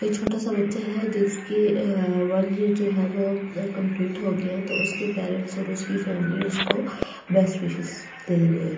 एक छोटा सा बच्चा है जिसकी वन ईयर जो है वो कंप्लीट हो गई है तो उसके पेरेंट्स और उसकी फैमिली उसको बेस्ट विशेस दे रहे है ।